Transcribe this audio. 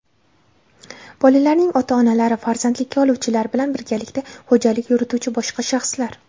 bolalarning ota-onalari (farzandlikka oluvchilar) bilan birgalikda xo‘jalik yurituvchi boshqa shaxslar.